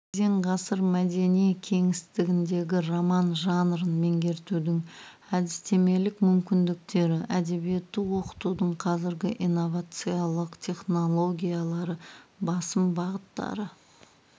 кезең ғасыр мәдени кеңістігіндегі роман жанрын меңгертудің әдістемелік мүмкіндіктері әдебиетті оқытудың қазіргі инновациялық технологиялары басым бағыттары